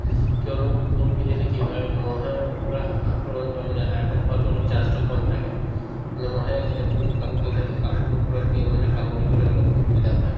কিয়নো full পিন্ধিলে কি হয় মহৰ পৰা আক্ৰমণ অ মানে আতক হোৱাতো অলপ chance তো কম থাকে মানে মহে যেতিয়া full কাপোৰ পিন্ধি থাকো to কাপোৰৰ ওপৰত পি মানে কামুৰিবলৈ অলপ অসুবিধা পাই